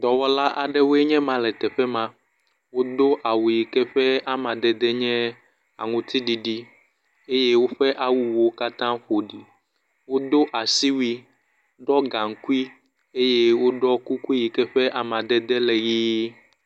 Dɔwɔla aɖewoe nye ma le teƒe ma. Wodo awu yike ƒe amadede nye aŋuti ɖiɖi eye woƒe awuwo katã wo ɖi. Wodo asiwui, ɖɔ gaŋkui eye woɖɔ kuku yike ƒe amadede le ʋi.